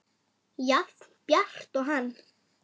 Jafn bjart og hann.